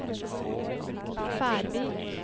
Færvik